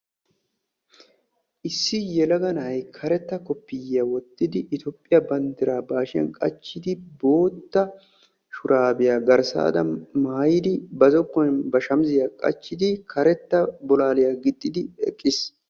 issi yelaga na'ay karetta koppiyiyya wottidi Etoophiya banddiraa ba hashshiyaan qachchidi bootta shurabbiya maayidi karetta bolalliya gixxid eqqiis.